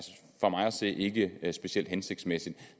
se ikke specielt hensigtsmæssigt